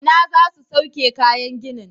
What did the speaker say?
Ina za su sauke kayan ginin?